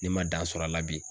Ne man dan sɔrɔ a la bi.